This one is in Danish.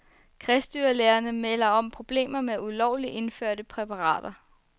Kredsdyrlægerne melder om problemer med ulovligt indførte præparater.